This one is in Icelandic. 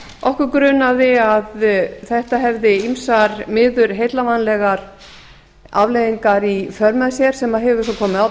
okkur grunaði að þetta hefði ýmsar miður heillavænlegar afleiðingar í för með sér sem hefur svo komið á